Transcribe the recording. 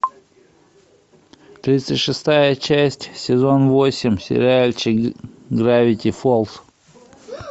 тридцать шестая часть сезон восемь сериальчик гравити фолз